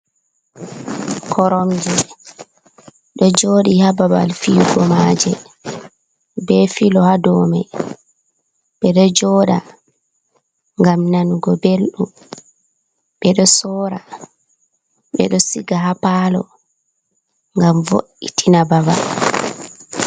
Koromje ɗo joɗi ha babal fiyugo maje be filo ha domai, ɓeɗo joɗa ngam nanugo belɗum ɓeɗo sora ɓeɗo siga ha palo ngam vo’itina babal.